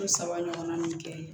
Ko saba ɲɔgɔnna min kɛ